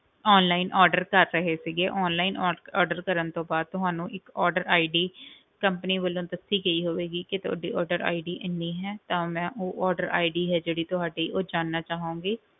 Online order ਕਰ ਰਹੇ ਸੀਗੇ online or~ order ਕਰਨ ਤੋਂ ਬਾਅਦ ਤੁਹਾਨੂੰ ਇੱਕ order ID company ਵੱਲੋਂ ਦੱਸੀ ਗਈ ਹੋਵੇਗੀ, ਕਿ ਤੁਹਾਡੀ order ID ਇੰਨੀ ਹੈ ਤਾਂ ਮੈਂ ਉਹ order ID ਹੈ ਜਿਹੜੀ ਤੁਹਾਡੀ ਉਹ ਜਾਣਨਾ ਚਾਹਾਂਗੀ।